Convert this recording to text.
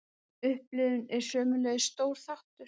Upplifunin er sömuleiðis stór þáttur.